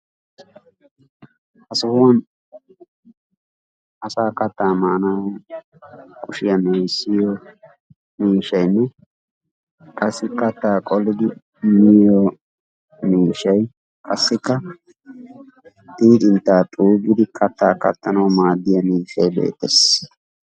Ha sohuwa asaa katta maanuaw kushiyaa me'issiyo miishshaynne qassikka katta qolidi miyo miishshay qassikka xiixxintta xuugidi katta kattanaw maaddoya miishshay beettees.